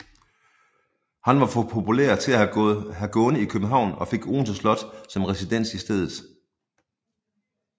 Han var for populær til at have gående i København og fik Odense Slot som residens i stedet